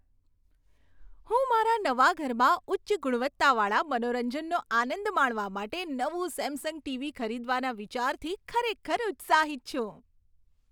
હું મારા નવા ઘરમાં ઉચ્ચ ગુણવત્તાવાળા મનોરંજનનો આનંદ માણવા માટે નવું સેમસંગ ટીવી ખરીદવાના વિચારથી ખરેખર ઉત્સાહિત છું.